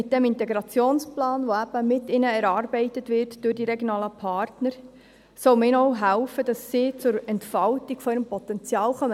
Mit diesem Integrationsplan, der eben durch die regionalen Partner mit ihnen erarbeitet wird, soll man ihnen auch helfen, dass sie zur Entfaltung ihres Potenzials kommen.